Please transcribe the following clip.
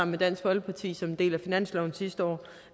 med dansk folkeparti som en del af finansloven sidste år